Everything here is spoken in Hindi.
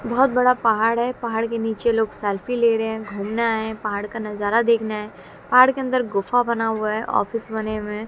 बहोत बड़ा पहाड़ है पहार के नीचे लोग सेल्फी ले रहे हैं घूमने आए हैं पहाड़ का नजारा देखने आए पहार के अंदर गुफा बना हुआ है ऑफिस बने हुए हैं।